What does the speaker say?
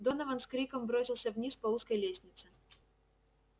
донован с криком бросился вниз по узкой лестнице